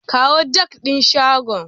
Kawo jak din shagon.